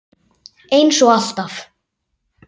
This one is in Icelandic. Eins og alltaf.